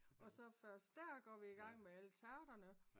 Og så først der går vi i gang med alle tærterne